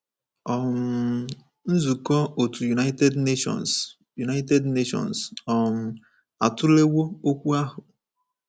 um Nzukọ otu United Nations United Nations um atụlewo okwu ahụ.